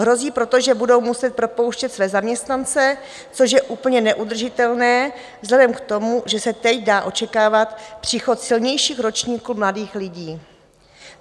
Hrozí proto, že budou muset propouštět své zaměstnance, což je úplně neudržitelné vzhledem k tomu, že se teď dá očekávat příchod silnějších ročníků mladých lidí.